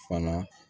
Fana